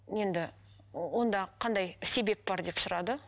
енді онда қандай себеп бар деп сұрады